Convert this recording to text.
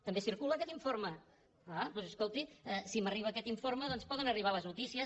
també circula aquest informe ah doncs escolti si m’arriba aquest informe poden arribar les notícies